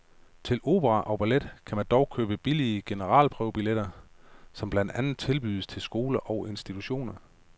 Til opera og ballet kan man dog købe billige generalprøvebilletter, som blandt andet tilbydes til skoler og institutioner.